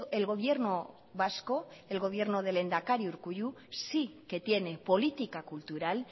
el gobierno vasco el gobierno del lehendakari urkullu sí que tiene política cultural